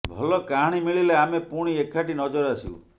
ଭଲ କାହାଣୀ ମିଳିଲେ ଆମେ ପୁଣି ଏକାଠି ନଜର ଆସିବୁ